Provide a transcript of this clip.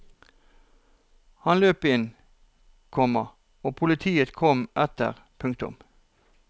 Han løp inn, komma og politiet kom etter. punktum